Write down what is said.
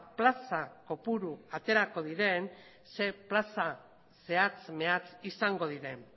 plaza kopuru aterako diren zer plaza zehatz mehatz izango diren